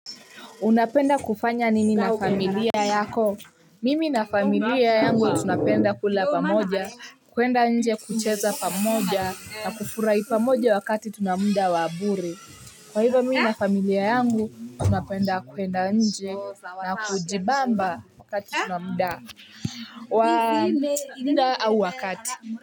Unapenda kufanya nini na familia yako? Mimi na familia yangu, tunapenda kula pamoja, kuenda nje kucheza pamoja, na kufurai pamoja wakati tuna muda wa bure. Kwa hivo mimi na familia yangu, tunapenda kuenda nje na kujibamba wakati tunamuda. Waa wakati.